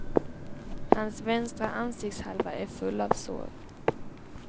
Hans vänstra ansiktshalva är full av sår.